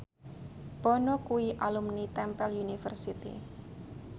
Bono kuwi alumni Temple University